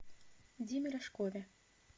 диме рожкове